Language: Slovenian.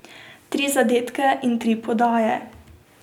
Tri zadetke in tri podaje.